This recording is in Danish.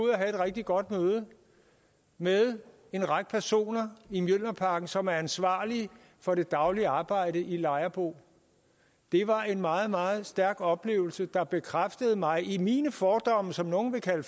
rigtig godt møde med en række personer i mjølnerparken som er ansvarlige for det daglige arbejde i lejerbo det var en meget meget stærk oplevelse der bekræftede mig i mine fordomme som nogle vil kalde